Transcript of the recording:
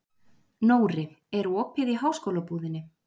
Nóri, er opið í Háskólabúðinni?